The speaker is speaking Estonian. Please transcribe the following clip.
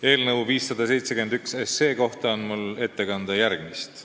Eelnõu 571 kohta on mul ette kanda järgmist.